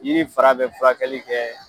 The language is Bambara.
Yiri in fara bɛ furakɛli kɛ